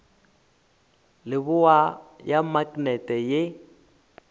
leboa ya maknete ye e